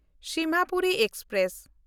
Simhapuri express